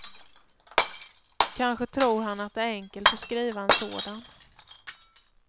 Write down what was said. Kanske tror han att det är enkelt att skriva en sådan.